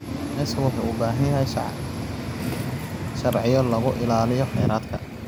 Kalluumeysigu wuxuu u baahan yahay sharciyo lagu ilaaliyo kheyraadka.